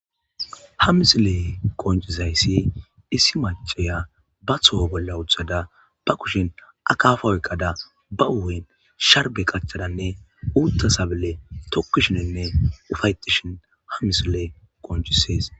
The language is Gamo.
ha misilee qoncisayssi issi maceya ba toho bolla wothada ba kushin akaafa oyqqada ba uwuyn sharbe qachadanne uutta sabile tokkishininne ufayetishin ha misilee qoncisees